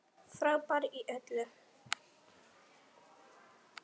Frábær í öllu!